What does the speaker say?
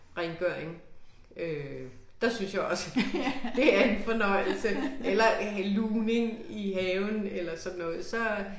Rengøring øh der synes jeg også det det er en fornøjelse eller lugning i haven eller sådan noget så